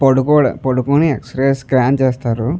పడుకో పడుకోని x ray scan చేస్తారు.